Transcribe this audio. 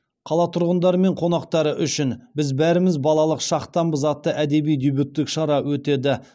қала тұрғындары мен қонақтары үшін біз бәріміз балалық шақтанбыз атты әдеби дебюттік шара өтеді